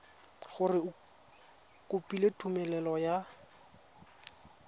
gore o kopile tumelelo ya